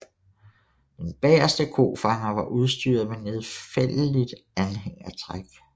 Den bageste kofanger var udstyret med nedfældeligt anhængertræk